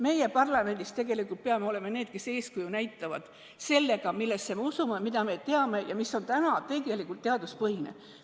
Meie siin parlamendis peame tegelikult olema need, kes eeskuju näitavad sellega, millesse me usume, mida me teame ja mis on täna tegelikult teaduspõhine.